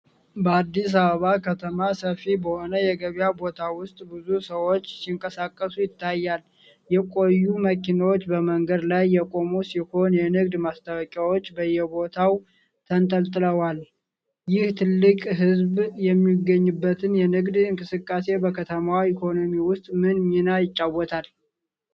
በአዲስ አበባ ከተማ ሰፊ በሆነ የገበያ ቦታ ውስጥ ብዙ ሰዎች ሲንቀሳቀሱ ይታያል። የቆዩ መኪኖች በመንገድ ላይ የቆሙ ሲሆን፣ የንግድ ማስታወቂያዎች በየቦታው ተንጠልጥለዋል። ይህ ትልቅ ሕዝብ የሚገኝበት የንግድ እንቅስቃሴ በከተማዋ ኢኮኖሚ ውስጥ ምን ሚና ይጫወታል?